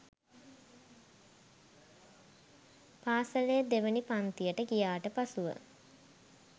පාසලේ දෙවැනි පන්තියට ගියාට පසුව